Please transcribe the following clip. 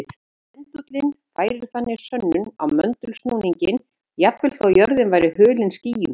Pendúllinn færir þannig sönnur á möndulsnúninginn jafnvel þó að jörðin væri hulin skýjum.